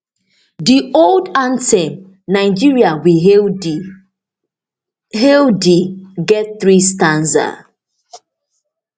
di old anthem nigeria we hail thee hail thee get three stanza